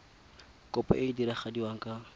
kopo e e diragadiwa ka